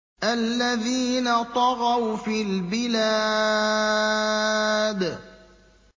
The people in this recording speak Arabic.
الَّذِينَ طَغَوْا فِي الْبِلَادِ